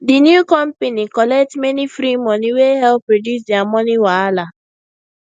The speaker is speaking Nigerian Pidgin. the new company collect many free money wey help reduce their money wahala